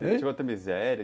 miséria?